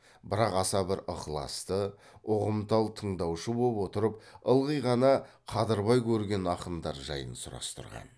бірақ аса бір ықыласты ұғымтал тыңдаушы боп отырып ылғи ғана қадырбай көрген ақындар жайын сұрастырған